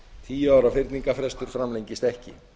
tíu ára fyrningarfestur framlengist ekki